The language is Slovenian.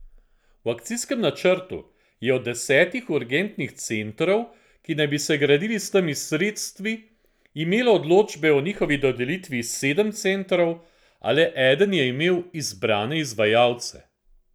V akcijskem načrtu je od desetih urgentnih centrov, ki naj bi se gradili s temi sredstvi, imelo odločbe o njihovi dodelitvi sedem centrov, a le eden je imel izbrane izvajalce.